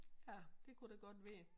Ja det kunne det godt være